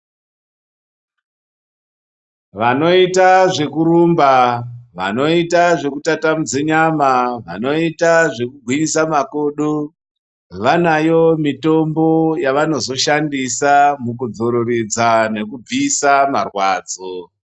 Vanoita zvekurumba vanoita zvekutata mudza nyama vanoita zvekugwinyisa makodo vanayo mitombo yavanozoshandisa kudzororedza nekubvisa marwadzo